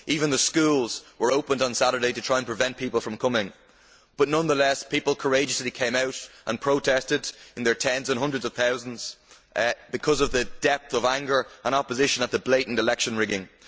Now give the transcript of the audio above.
The schools even opened on Saturday to try to prevent people from coming, but nonetheless people courageously came out and protested, in their tens and hundreds of thousands, because of the depth of anger and opposition at the blatant election rigging.